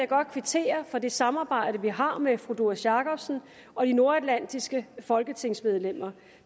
godt kvittere for det samarbejde vi har med fru doris jakobsen og de nordatlantiske folketingsmedlemmer